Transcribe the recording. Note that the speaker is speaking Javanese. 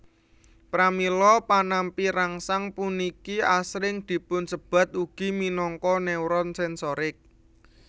Pramila panampi rangsang puniki asring dipunsebat ugi minangka neuron sensorik